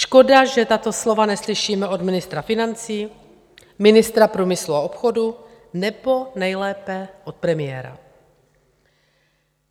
Škoda že tato slova neslyšíme od ministra financí, ministra průmyslu a obchodu nebo nejlépe od premiéra.